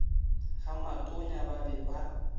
ga matonya ba ba ba